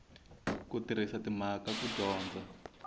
ku tirhisa timhaka ku dyondza